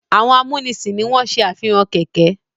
Àwọn amúnisìn ni wọ́n se àfihàn kẹ̀ẹ̀kẹ́.